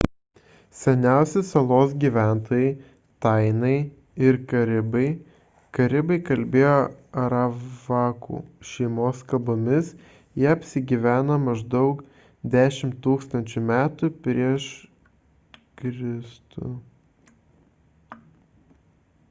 seniausi salos gyventojai – tainai ir karibai karibai kalbėjo aravakų šeimos kalbomis jie apsigyveno maždaug 10 000 m pr m e